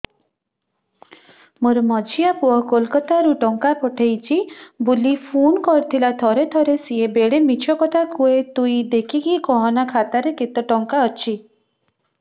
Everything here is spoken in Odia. ମୋର ମଝିଆ ପୁଅ କୋଲକତା ରୁ ଟଙ୍କା ପଠେଇଚି ବୁଲି ଫୁନ କରିଥିଲା ଥରେ ଥରେ ସିଏ ବେଡେ ମିଛ କଥା କୁହେ ତୁଇ ଦେଖିକି କହନା ଖାତାରେ କେତ ଟଙ୍କା ଅଛି